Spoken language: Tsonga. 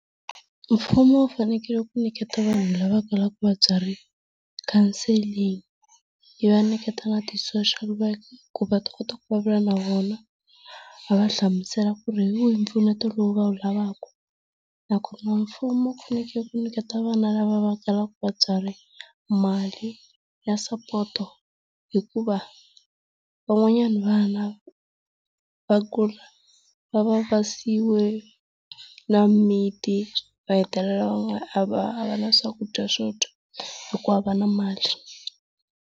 Mfumo wu fanekele ku nyiketa vanhu lava kalaka vatswari counseling, yi va nyiketa na ti social worker ku va ta kota ku vulavula na vona, va va hlamusela ku ri hi wihi mpfuneto lowu va wu lavaka. Nakona mfumo wu fanekele ku niketa vana lava va kalaka vatswari mali ya sapoto hukuva van'wanyana vana va kula va va va siyiwe na mimiti va hetelela va nga a va a va na swakudya swo dya hikuva a va na mali.